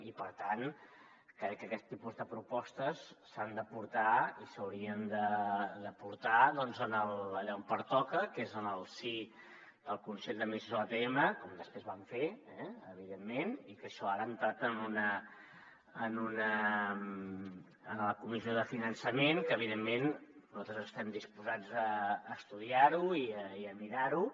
i per tant crec que aquests tipus de propostes s’han de portar i s’haurien de portar allà on pertoca que és en el si del consell d’administració de l’atm com després van fer eh evidentment i que això ara ha entrat en la comissió de finançament que evidentment nosaltres estem disposats a estudiar ho i a mirar ho